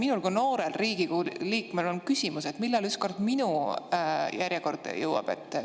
Minul kui noorel Riigikogu liikmel on küsimus: millal järjekord ükskord minuni jõuab?